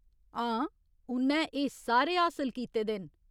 हां, उ'न्नै एह् सारे हासल कीते दे न।